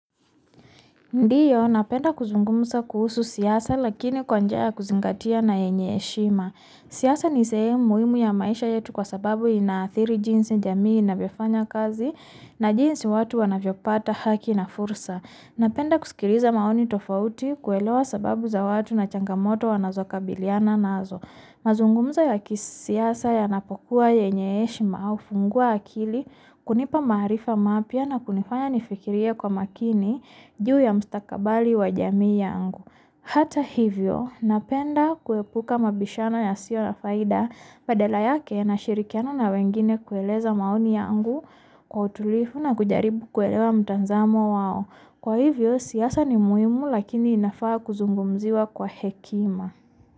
Ndiyo, napenda kuzungumuza kuhusu siasa lakini kwa njia ya kuzingatia na yenye heshima. Siasa ni sehemu muhimu ya maisha yetu kwa sababu inaathiri jinsi jamii inavyofanya kazi na jinsi watu wanavyo pata haki na fursa. Napenda kusikiliza maoni tofauti kuelewa sababu za watu na changamoto wanazo kabiliana nazo. Mazungumzo ya kisiasa yanapokua yenye heshima au funguwa akili, kunipa maharifa mapya na kunifanya nifikirie kwa makini juu ya mstakabali wa jamii yangu. Hata hivyo, napenda kuepuka mabishano yasio na faida badala yake nashirikiana na wengine kueleza maoni yangu kwa utulivu na kujaribu kuelewa mtazamo wao. Kwa hivyo siasa ni muhimu lakini inafaa kuzungumuziwa kwa hekima.